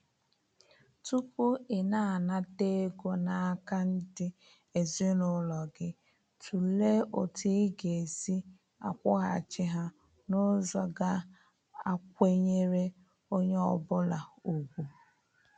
Tupu ị na-anata ego n'aka ndị ezinaụlọ gị, tụlee otu ị ga-esi akwụghachi ha n'ụzọ ga a kwenyere onye ọ bụla ugwu.